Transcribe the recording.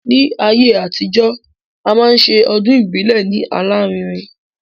Ní ayé àtijọ́, a máa ṣe ọdún ìbílẹ̀ ní alárinrin